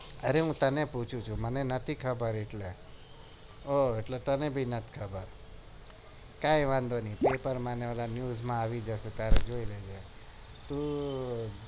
અરે હું તને પુછુ છુ મને નથી ખબર એટલે ઓં એટલે તને પણ નથી ખબર કાઈ વાધો નહિ પેપર માં અને news આવી જશે એટલે જોઈ લેજે